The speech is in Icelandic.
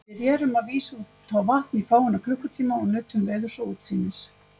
Við rerum að vísu út á vatn í fáeina klukkutíma og nutum veðurs og útsýnis.